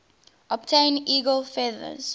obtain eagle feathers